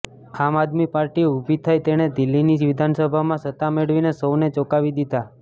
આમ આદમી પાર્ટી ઉભી થઈ તેણે દિલ્હીની વિધાનસભામાં સત્તા મેળવીને સૌને ચોંકાવી દીધાં